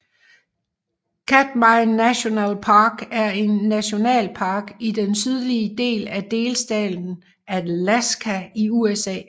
Katmai National Park er en nationalpark i den sydlige del af delstaten Alaska i USA